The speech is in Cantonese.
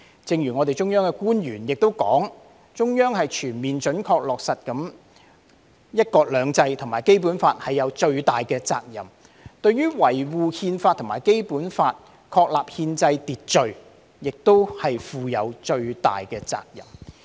正如中央官員說，中央對全面準確落實"一國兩制"和《基本法》負有最大的責任，對於維護《憲法》和《基本法》確立的憲制秩序亦負有最大的責任。